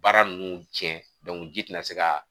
Baara ninnu cɛ ji tɛna se ka